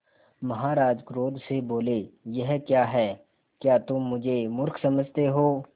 महाराज क्रोध से बोले यह क्या है क्या तुम मुझे मुर्ख समझते हो